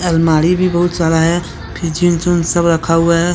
अलमारी भी बहुत सारा है। सब रखा हुआ है।